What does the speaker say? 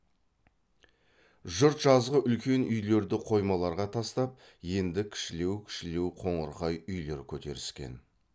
жұрт жазғы үлкен үйлерді қоймаларға тастап енді кішілеу кішілеу қоңырқай үйлер көтеріскен